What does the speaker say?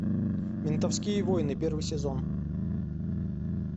ментовские войны первый сезон